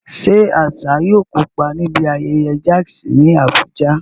Ṣé Asa yóò kópa níbi ayẹyẹ jazz ní Abuja?